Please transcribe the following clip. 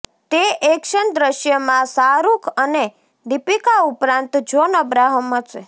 તે એક્શન દ્રશ્યમાં શાહરૂખ અને દીપિકા ઉપરાંત જોન અબ્રાહમ હશે